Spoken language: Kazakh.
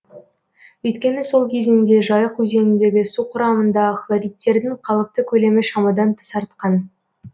өйткені сол кезеңде жайық өзеніндегі су құрамында хлоридтердің қалыпты көлемі шамадан тыс артқан